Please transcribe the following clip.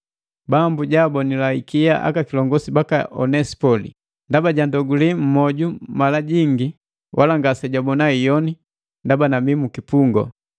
Bambu jaabonila ikia aka kilongu baka Onesipoli, ndaba jandogule mmwoju mala jingi, wala ngasejabona iyoni ndaba nabii mukipungu,